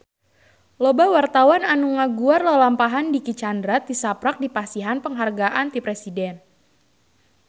Loba wartawan anu ngaguar lalampahan Dicky Chandra tisaprak dipasihan panghargaan ti Presiden